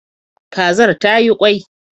Kazar tayi kwai